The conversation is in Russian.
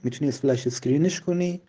аа